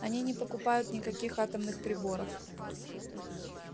они не покупают никаких атомных приборов